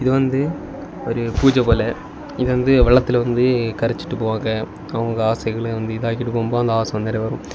இது வந்து ஒரு பூஜை போல இது வந்து வெள்ளத்துல வந்து கரைச்சிட்டு போவாங்க அவங்க ஆசைகள வந்து இதாகிட்டு போகும்போது அந்த ஆசை வந்து நிறைவேறும்.